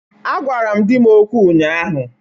A gwara m di m okwụ ụnyahụ.